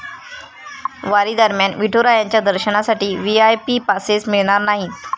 वारीदरम्यान विठुरायांच्या दर्शनासाठी VIP passes मिळणार नाहीत!